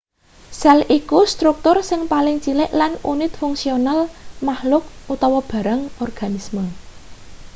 sel iku struktur sing paling cilik lan unit fungsional makhluk barang organisme